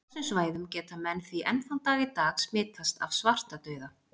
Á þessum svæðum geta menn því enn þann dag í dag smitast af svartadauða.